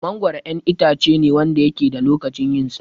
Mangoro 'yan itacene Wanda yake da lokacin yinsa